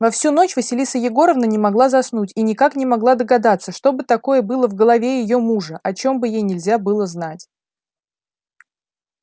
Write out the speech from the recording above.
во всю ночь василиса егоровна не могла заснуть и никак не могла догадаться что бы такое было в голове её мужа о чём бы ей нельзя было знать